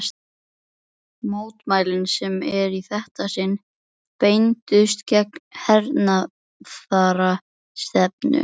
Mótmælin, sem í þetta sinn beindust gegn hernaðarstefnu